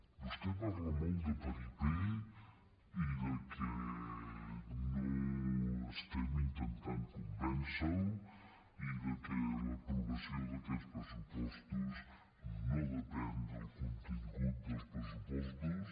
vostè parla molt de paripé i del fet que no intentem convèncer lo i del fet que l’aprovació d’aquests pressupostos no depèn del contingut dels pressupostos